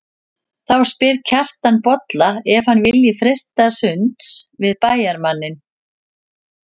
Þá spyr Kjartan Bolla ef hann vilji freista sunds við bæjarmanninn.